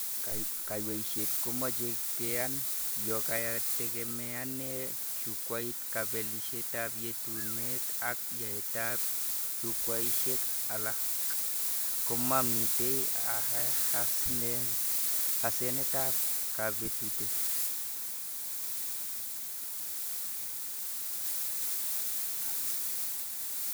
Kaweishet komache keyan. Yo katekemeanee Jukwait kabelishetab yetunet ak yaeteab Jukwaishek ala, komamite asenetab kabutet neo